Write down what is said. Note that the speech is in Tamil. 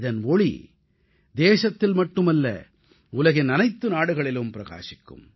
இதன் ஒளி நம் நாட்டில் மட்டுமல்ல உலகின் அனைத்து நாடுகளிலும் பிரகாசிக்கும்